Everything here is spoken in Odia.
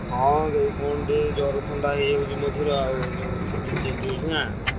ହଁ ଏଇ କଣ ଟିକେ ଜର ଥଣ୍ଡା ହେଇଆଉଛି ମଝିରେ ଆଉ ଯୋ season change ହଉଛି ନା।